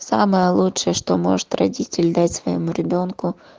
самое лучшее что может родитель дать своему ребёнку